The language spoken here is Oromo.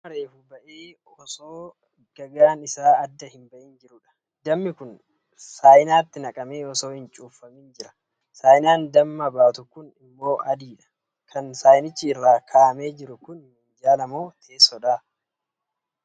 Damma reefu ba'ee osoo gagaa isaan adda hin ba'iin jirudha. Dammi Kun saayinaatti naqamee osoo hin cuuffamiin jira. Saayinaan daamma baatu kun immoo adiidha. Kan saayinichi irra kaa'amee jiru kun minjaala moo teessoodha?